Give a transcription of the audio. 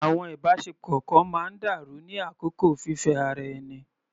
Àwọn ìbáṣepọ̀ kan máa ń dàrú ní àkókò fífẹ́ ara ẹni.